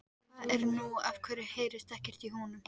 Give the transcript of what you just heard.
Hvað er nú, af hverju heyrist ekkert í honum?